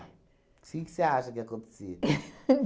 Que que você acha que acontecia?